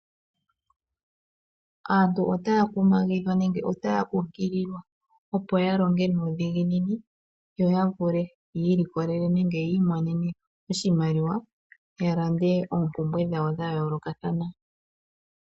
Aantu otaya kumagidhwa nenge otaya kunkililwa opo ya longe nuudhiginini yo ya vule ya ili kolelele nenge ya imonene oshimaliwa ya lande oompumbwe dhawo dha yoolokathana.